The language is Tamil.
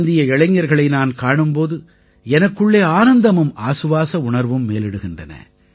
இந்திய இளைஞர்களை நான் காணும் போது எனக்குள்ளே ஆனந்தமும் ஆசுவாச உணர்வும் மேலிடுகின்றன